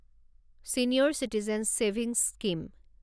senior citizen savings scheme